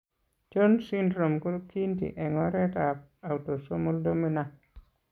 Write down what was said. Jones syndrome ko kiinti eng' oretap autosomal dominant.